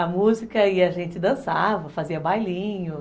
A música e a gente dançava, fazia bailinho.